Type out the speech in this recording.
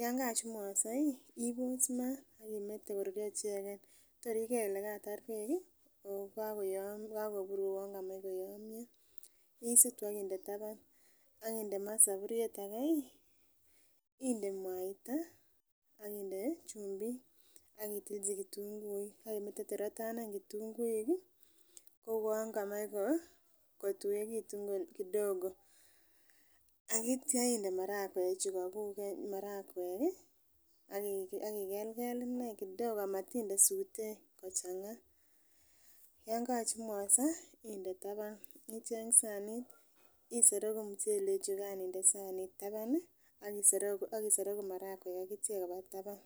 yoon kochumugoso iih iboos maat ak imete koruryoo icheget tor igeer kole kataar beek iih ooh kagobuur uwoon kamach koyomyoo isutu ak inde taban ak inde maa saburyeet age iih, inde mwaaita ak inde chumbiik ak itilchi ketunguiik ak imete torr kotanen ketunguuik kouwoon kamach kotuwegitun kidogo aityoo inde marakweek chugaguuk marakweek iih ak igelgel kidogo amatinde suutek, yoon kochumugose inde taban icheng saniit isoroguu muchelek chugaan inde saniit taban ak isoroguu marakweek ak icheeg koba taban.